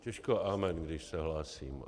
Těžko amen, když se hlásím.